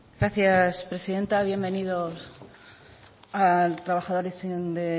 gracias presidente bienvenidos trabajadores de